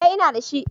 Eh, ina da shi.